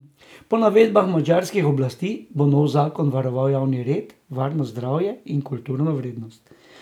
Po navedbah madžarskih oblasti bo nov zakon varoval javni red, varnost, zdravje in kulturno vrednost.